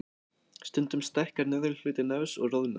Stundum stækkar neðri hluti nefs og roðnar.